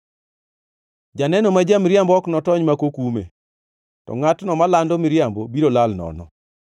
Janeno ma ja-miriambo ok notony ma ok okume, to ngʼatno malando miriambo biro lal nono.